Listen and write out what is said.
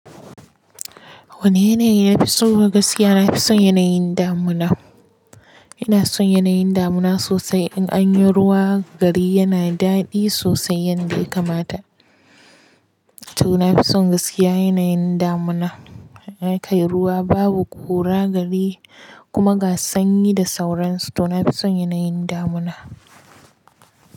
Wane yanayi na fi so? Gaskiya na fi son yanayin damuna. Ina son yanayin damina sosai. In an yi ruwa gari yana daɗi sosai yanda ya kamata. To na fi son gaskiya yanayin damuna. Kai ruwa babu ƙura gari kuma ga sanyi da sauransu to na fi son yanayin damina.